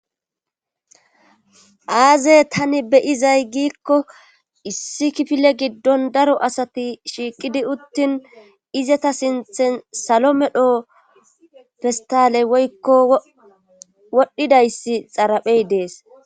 Aazey tani beyizay giikko issi kifile giddon daro asati shiiqidi uttin izata sinthen salo medho festale woykko wodhdhidayssi xaraphey dees.